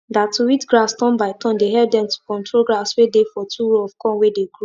that to weed grass turn by turn dey help dem to control grass way dey for two row of corn way dey grow